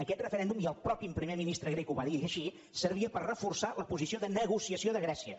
aquest referèndum i el mateix primer ministre grec ho va dir així servia per reforçar la posició de negociació de grècia